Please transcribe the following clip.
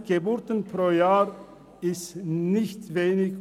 200 Geburten pro Jahr sind nicht wenig.